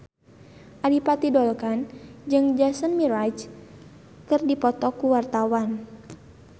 Adipati Dolken jeung Jason Mraz keur dipoto ku wartawan